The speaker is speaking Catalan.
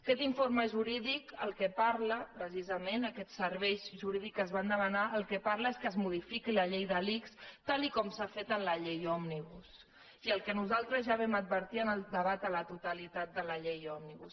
aquest informe jurídic del que parla precisament aquests serveis jurídics que es van demanar és que es modifiqui la llei de l’ics tal com s’ha fet amb la llei òmnibus i el que nosaltres ja vam advertir en el debat a la totalitat de la llei òmnibus